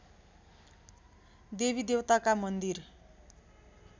देवीदेवताका मन्दिर